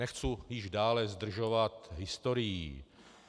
Nechci již dále zdržovat historií.